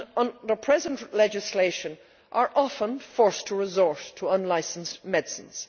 Under present legislation they are often forced to resort to unlicensed medicines.